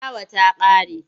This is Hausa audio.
Filawa ta ƙare.